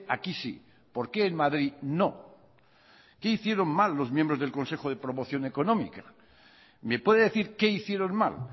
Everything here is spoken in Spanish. aquí sí por qué en madrid no qué hicieron mal los miembros del consejo de promoción económica me puede decir qué hicieron mal